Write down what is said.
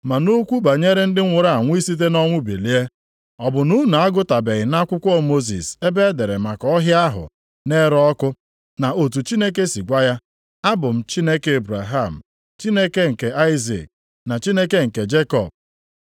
Ma nʼokwu banyere ndị nwụrụ anwụ isite nʼọnwụ bilie, ọ bụ na unu agụtabeghị nʼakwụkwọ Mosis ebe e dere maka ọhịa ahụ na-ere ọkụ, na otu Chineke si gwa ya, Abụ m Chineke Ebraham, Chineke nke Aịzik na Chineke nke Jekọb. + 12:26 \+xt Ọpụ 3:6\+xt*